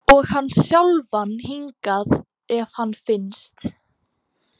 Og hann sjálfan hingað ef hann finnst.